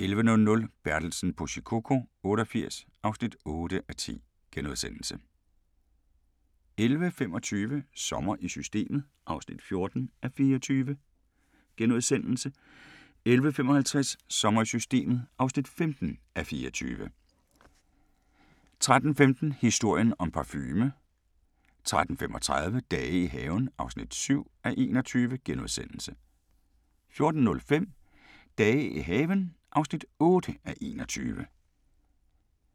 11:00: Bertelsen på Shikoku 88 (8:10)* 11:25: Sommer i Systemet (14:24)* 11:55: Sommer i Systemet (15:24) 13:15: Historien om parfume 13:35: Dage i haven (7:21)* 14:05: Dage i haven (8:21)